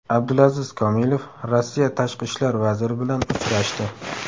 Abdulaziz Komilov Rossiya tashqi ishlar vaziri bilan uchrashdi.